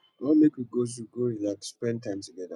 i wan make we go zoo go relax spend time togeda